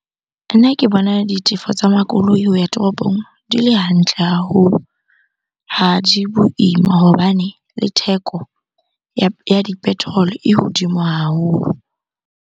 Nna ke bona ditefo tsa makoloi ho ya toropong di le hantle haholo. Ha di boima hobane le theko ya di-petrol-o e hodimo haholo.